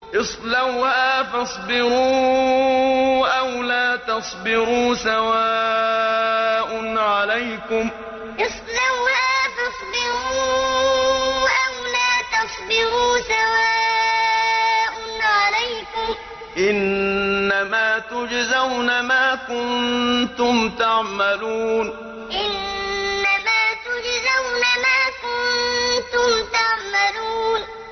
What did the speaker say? اصْلَوْهَا فَاصْبِرُوا أَوْ لَا تَصْبِرُوا سَوَاءٌ عَلَيْكُمْ ۖ إِنَّمَا تُجْزَوْنَ مَا كُنتُمْ تَعْمَلُونَ اصْلَوْهَا فَاصْبِرُوا أَوْ لَا تَصْبِرُوا سَوَاءٌ عَلَيْكُمْ ۖ إِنَّمَا تُجْزَوْنَ مَا كُنتُمْ تَعْمَلُونَ